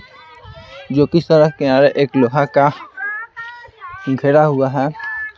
जो कि सड़क किनारे एक लोहा का घेरा हुआ है।